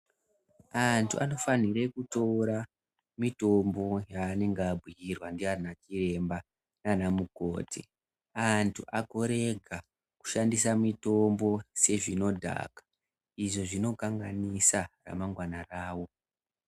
Antu anofanhire kutora mitombo yaanenge abhuirwa ndiana chiremba naana mukoti. Antu agorega kushandisa mitombo sezvinodhaka, izvi zvinokanganisa ramangwana rawo.